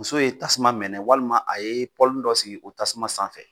Muso ye tasuma mɛnɛ walima a ye pɔlinin dɔ sigi o tasuma sanfɛ.